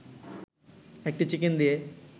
একটি চিকেন দিয়ে